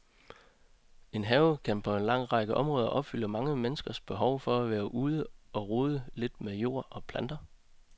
En have kan på en lang række områder opfylde mange menneskers behov for at være ude og rode lidt med jord og planter.